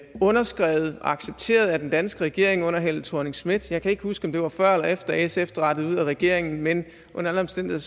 underskrevet og accepteret af den danske regering under helle thorning schmidt jeg kan ikke huske om det var før eller efter sf drattede ud af regeringen men under alle omstændigheder